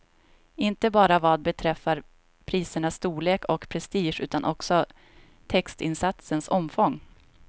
Inte bara vad beträffar prisernas storlek och prestige utan också textinsatsens omfång.